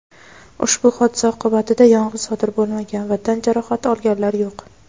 Ushbu hodisa oqibatida yong‘in sodir bo‘lmagan va tan jarohati olganlar yo‘q.